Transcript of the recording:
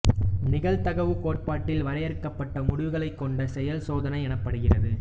நிகழ்தகவுக் கோட்பாட்டில் வரையறுக்கப்பட்ட முடிவுகளைக் கொண்ட செயல் சோதனை எனப்படுகிறது